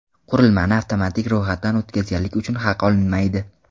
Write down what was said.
Qurilmani avtomatik ro‘yxatdan o‘tkazganlik uchun haq olinmaydi.